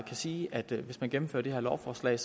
sige at det hvis man gennemfører det her lovforslag